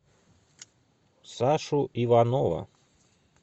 сашу иванова